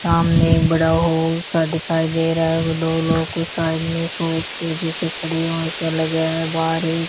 सामने बड़ा हाॅल सा दिखाई दे रहा है और दो लोग साइड में सोफ़े जैसे खड़े हैं सा लग रहा है बाहर एक --